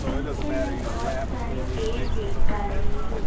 پیچھے میں بہت سارے پیڑ دیکھ پا رہی ہوں